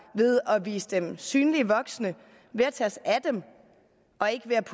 ved at vise dem synlige voksne ved at tage os af dem og ikke ved at